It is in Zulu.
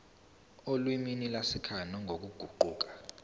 olimini lwasekhaya nangokuguquka